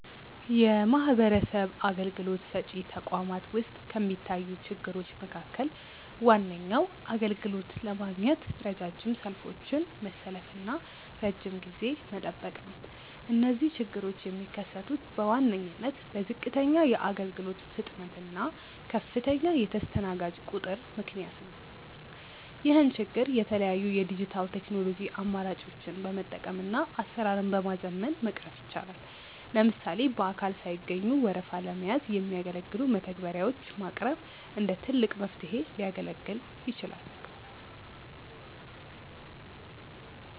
የማህበረሰብ አገልግሎት ሰጪ ተቋማት ውስጥ ከሚታዩ ችግሮች መካከል ዋነኛው አገልግሎት ለማግኘት ረጃጅም ሰልፎችን መሰለፍና ረጅም ጊዜ መጠበቅ ነው። እነዚህ ችግሮች የሚከሰቱት በዋነኝነት በዝቅተኛ የአገልግሎት ፍጥነት እና ከፍተኛ የተስተናጋጅ ቁጥር ምክንያት ነው። ይህን ችግር የተለያዩ የዲጂታል ቴክኖሎጂ አማራጮችን በመጠቀምና አሰራርን በማዘመን መቅረፍ ይቻላል። ለምሳሌ በአካል ሳይገኙ ወረፋ ለመያዝ የሚያገለግሉ መተግበሪያዎች ማቅረብ እንደ ትልቅ መፍትሄ ሊያገለግል ይችላል።